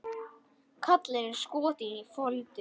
Kallinn er skotinn í Foldu.